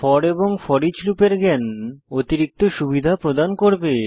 four এবং foreach লুপের জ্ঞান অতিরিক্ত সুবিধা প্রদান করবে